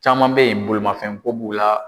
Caman bɛ ye bolimafɛn ko b'u la.